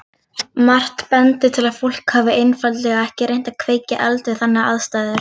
Margt bendir til að fólk hafi einfaldlega ekki reynt að kveikja eld við þannig aðstæður.